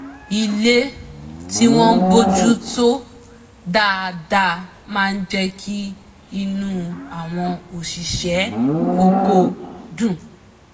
ilé tí wọ́n bójú tó dáadá máa jẹ́ kí inú àwọn òṣìṣẹ́ oko dùn